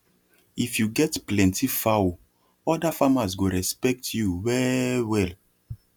if you get plenty fowl other farmers go respect you wellwell